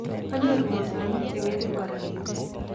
Kwanyoru mosongik cheng'ering kora.